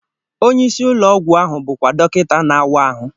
Onye isi ụlọ ọgwụ ahụ bụkwa dọkịta na-awa ahụ.